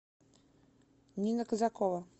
нина козакова